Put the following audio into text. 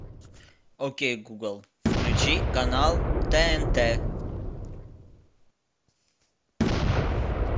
окей гугл включи канал тнт